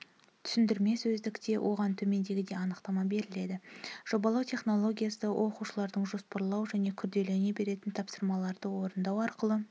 түсіндірме сөздікте оған төмендегідей анықтама беріледі жобалау технологиясы оқушылардың жоспарлау және күрделене беретін тапсырмаларды орындау арқылы